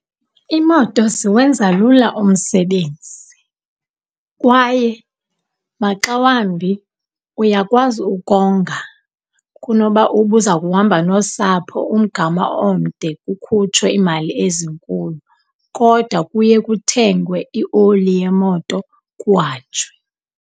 Iimoto ziwenza lula umsebenzi, kwaye maxa wambi uyakwazi ukonga kunoba ubuza kuhamba nosapho umgama omde kukhutshwe iimali ezinkulu, kodwa kuye kuthengwe ioli yemoto kuhanjwe.